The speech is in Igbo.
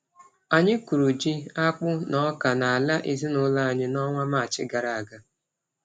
Anyị kụrụ ji, akpụ na ọka n’ala ezinụlọ anyị n’ọnwa Maachị gara aga.